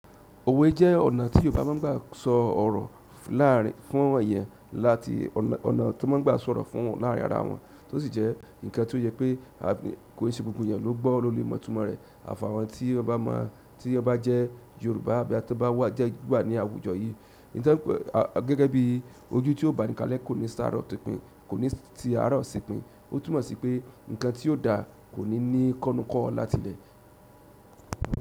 Owe je ọ̀nà ti Yorùbá ma gba so oro laarin fún eyan láti ọ̀nà to ma gba sọ̀rọ̀ fún wan laarin ara won to si je nkan to ye pe ko se gbogbo eyan lo mo itumo re. Àfi àwọn tí o bá máa, tí o bá jẹ́ Yorùbá àbí àga to bá wà jẹ o wà ní àwùjọ yìí. Ní ìtánpẹ́ gẹ́gẹ́ bí ojú tí ó bánikálé kò ní sáróṣèpin, kò ní ti ará òṣìpin. Ó tùmọ̀ sí pé ǹkan tí ó da kò ní ní kọ́núkọ́ láti ilẹ̀.